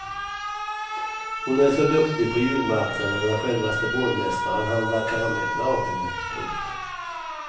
Hon är så duktig på julmarknaden att självaste borgmästaren handlar karameller av henne. punkt